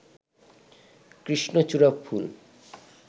কৃষ্ণচূড়া ফুল